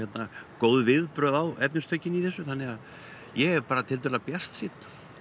góð viðbrögð á efnistökin í þessu þannig að ég er bara tiltölulega bjartsýnn